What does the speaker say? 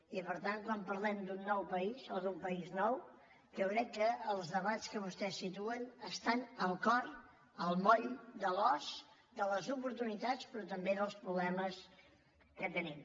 i per tant quan parlem d’un nou país o d’un país nou jo crec que els debats que vostès situen estan al cor al moll de l’os de les oportunitats però també dels problemes que tenim